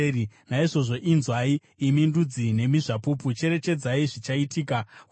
Naizvozvo inzwai, imi ndudzi, nemi zvapupu, cherechedzai zvichaitika kwavari.